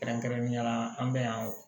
Kɛrɛnkɛrɛnnenya la an bɛ yan